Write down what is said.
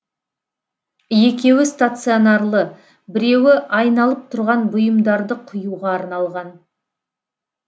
екеуі стационарлы біреуі айналып тұрған бұйымдарды құюға арналған